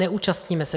Neúčastníme se.